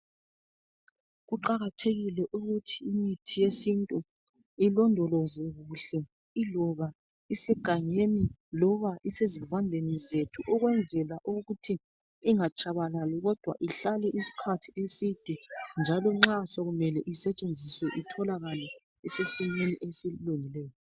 Kuqakathekile ukuthi imithi yesintu ilondolozwe kuhle iloba isegangeni loba isezivandeni zethu ukwenzela ukuthi ingatshabalali kodwa ihlale isikhathi eside njalo nxa sokumele isetshenziswe itholakale isesimeni esilula.